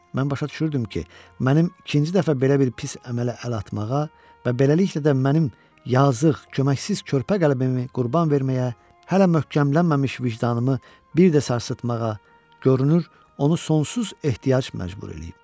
Mən başa düşürdüm ki, mənim ikinci dəfə belə bir pis əmələ əl atmağa və beləliklə də mənim yazıq, köməksiz, körpə qəlbəmi qurban verməyə, hələ möhkəmlənməmiş vicdanımı bir də sarsıtmağa, görünür onu sonsuz ehtiyac məcbur eləyib.